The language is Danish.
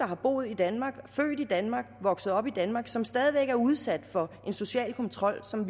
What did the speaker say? har boet i danmark er født i danmark er vokset op i danmark og som stadig væk er udsat for en social kontrol som